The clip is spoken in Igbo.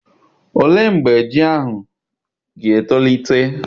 Olee mgbe ji ahụ ga-etolite?